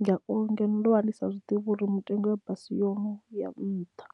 ngauri ngeno ndo vha ndi sa zwiḓivhi uri mutengo ya basi yono ya nṱha.